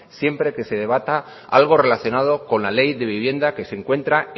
siempre que se debata algo relacionado con la ley de vivienda que se encuentra